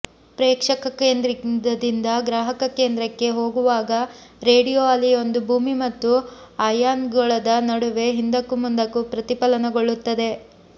ಪ್ರೇಕ್ಷಕಕೇಂದ್ರದಿಂದ ಗ್ರಾಹಕಕೇಂದ್ರಕ್ಕೆ ಹೋಗುವಾಗ ರೇಡಿಯೊ ಅಲೆಯೊಂದು ಭೂಮಿ ಮತ್ತು ಅಯಾನ್ಗೋಳದ ನಡುವೆ ಹಿಂದಕ್ಕೂ ಮುಂದಕ್ಕೂ ಪ್ರತಿಫಲನಗೊಳ್ಳುತ್ತದೆ